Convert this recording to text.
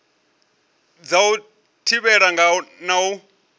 dza u thivhela na u